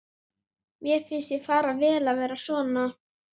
Mér finnst þér fara vel að vera svona.